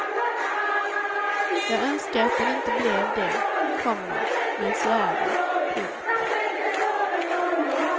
Jag önskar att den inte blev det, komma men så är det. punkt